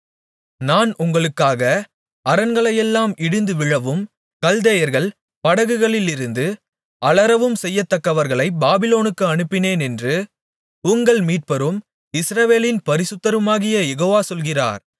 நான் உங்களுக்காக அரண்களெல்லாம் இடிந்துவிழவும் கல்தேயர்கள் படகுகளிலிருந்து அலறவும் செய்யத்தக்கவர்களைப் பாபிலோனுக்கு அனுப்பினேனென்று உங்கள் மீட்பரும் இஸ்ரவேலின் பரிசுத்தருமாகிய யெகோவா சொல்கிறார்